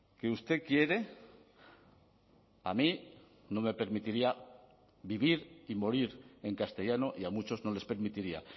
que usted quiere a mí no me permitiría vivir y morir en castellano y a muchos no les permitiría